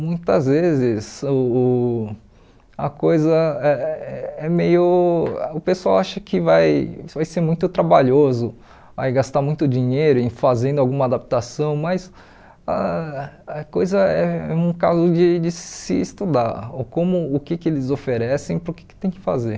Muitas vezes uh uh a coisa é é meio... o pessoal acha que vai vai ser muito trabalhoso aí gastar muito dinheiro em fazer alguma adaptação, mas ah a coisa é um caso de de se estudar, o como o que que eles oferecem para o que tem que fazer.